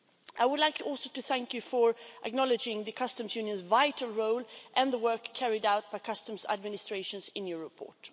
I would also like to thank you for acknowledging the Customs Union's vital role and the work carried out by customs administrations in your report.